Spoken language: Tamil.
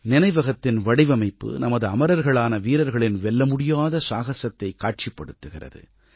நினைவகத்தின் வடிவமைப்பு நமது அமரர்களான வீரர்களின் வெல்லமுடியாத சாகசத்தைக் காட்சிப்படுத்துகிறது